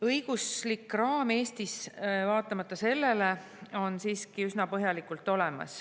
Õiguslik raam on Eestis vaatamata sellele siiski üsna põhjalik.